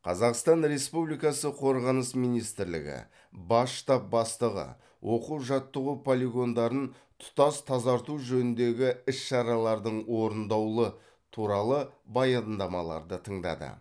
қазақстан республикасы қорғаныс министрлігі бас штаб бастығы оқу жаттығу полигондарын тұтас тазарту жөніндегі іс шаралардың орындаулы туралы баядамаларды тыңдады